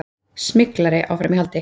Smyglari áfram í haldi